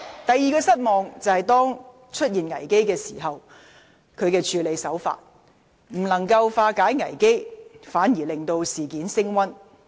第二，她在危機出現時的處理手法，未能化解危機，反而令事件升溫。